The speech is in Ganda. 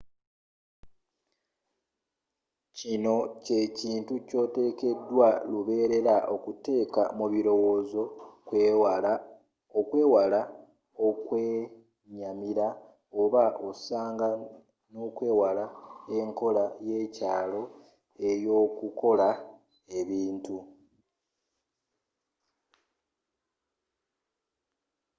kino kyekintu kyotekedwa lubeerera okuteeka mu birowoozo okwewala okwenyamira oba osanga nokwewala enkola yekyalo eyokukolamu ebintu